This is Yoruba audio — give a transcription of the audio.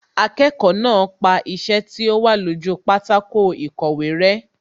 Akẹ́kọ̀ọ́ náà pa iṣẹ́ tí ó wà lójú pátákó ìkọ̀wé rẹ́